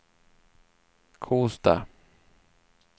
Kosta